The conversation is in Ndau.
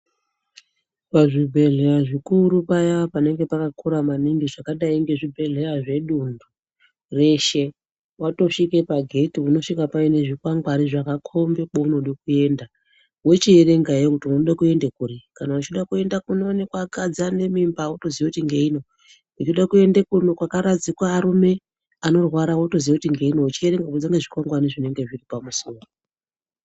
Pazvibhedhlera zvikuru paya panenge pakakura maningi zvakadai ngezvibhedhera zveduntu reshe, watosvika pagedhe unosvika paine zvikwangwari zvakakombe kwaunode kuenda, ochiverenga kuti unode kuenda kuri, kana uchida kuenda kunoonekwa vakadzi vane mimba otoziva kuti ngeino, uchida kuende kwakaradzikwa varume vanorwara otozive kuti ngeino uchiende kunze kwezvikwangwari zvinenge zviri pamusuwo.